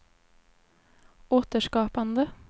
återskapande